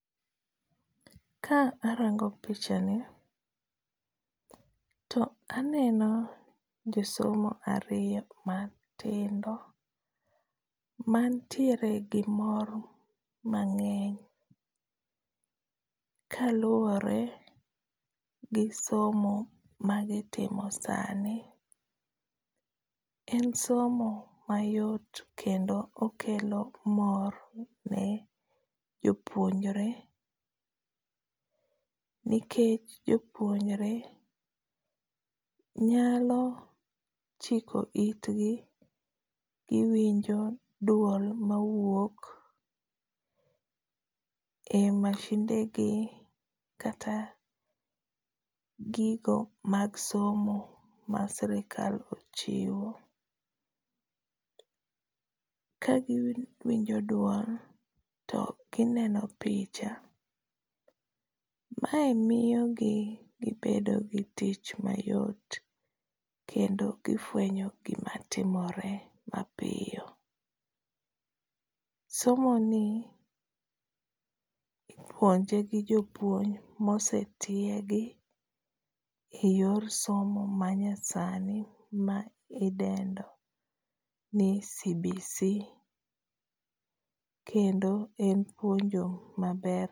Ka arango pichani to aneno josomo ariyo matindo, manitiere gi mor mangény, kaluwore gi somo ma gitimo sani. En somo mayot kendo okelo mor ne jopunjore. Nikech jopuonjore nyalo chiko itgi, giwinjo duol ma wuok e machinde gi kata gigo mag somo ma sirkal ochiwo. Ka giwinjo duol to gineno picha, mae miyo gi gibedo gi tich mayot, kendo gifwenyo gima timore mapiyo. Somo ni ipuonje gi jopuonj ma osetiegi, e yor somo ma nyasani ma idendo ni CBC, kendo en puonj maber.